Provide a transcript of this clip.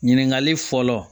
Ɲininkali fɔlɔ